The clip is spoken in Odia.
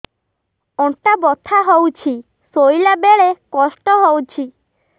ଅଣ୍ଟା ବଥା ହଉଛି ଶୋଇଲା ବେଳେ କଷ୍ଟ ହଉଛି